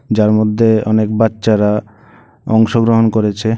যার মধ্যে অনেক বাচ্চারা অংশগ্রহণ করেছে।